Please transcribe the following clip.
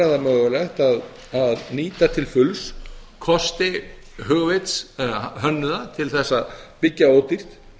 það mögulegt að nýta til fulls kosti hugvits eða hönnuða til þess að byggja ódýrt